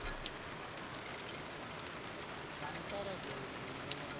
કંટારા જોવું છે એ મને બો